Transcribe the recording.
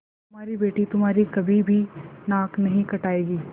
हमारी बेटी तुम्हारी कभी भी नाक नहीं कटायेगी